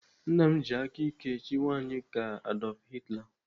Nna m ji aka ike chịkwa anyị ka Adolf Hitler.